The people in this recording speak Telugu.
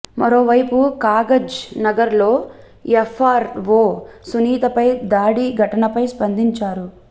మరోవైపు కాగజ్ నగర్ లో ఎఫ్ఆర్ వో సునీతపై దాడి ఘటనపై స్పందించారు